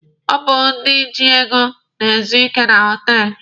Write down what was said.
Ọ bụ ndị ji ego na-ezu ike na họtelụ.